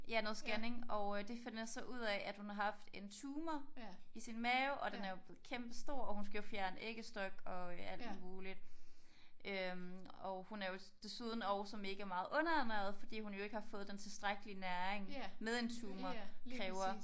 Ja noget scanning og øh de finder så ud af at hun har haft en tumor i sin mave og den er jo blevet kæmpestor og hun skal jo fjerne æggestok og øh alt muligt øh og hun er jo desuden også megameget underernæret fordi hun jo ikke har fået den tilstrækkelige næring med en tumor kræver